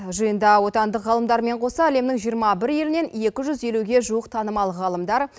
жиында отандық ғалымдармен қоса әлемнің жиырма бір елінен екі жүз елуге жуық танымал ғалымдар